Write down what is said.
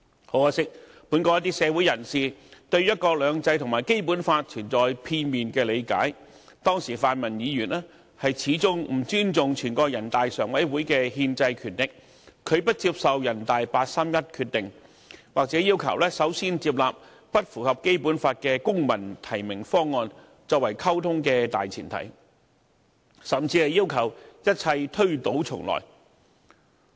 很可惜，本港一些社會人士對"一國兩制"和《基本法》存在片面的理解，當時泛民議員始終不尊重人大常委會的憲制權力，拒不接受人大常委會八三一決定，或要求首先接納不符合《基本法》的"公民提名"方案作為溝通的大前提，甚至要求一切推倒重來。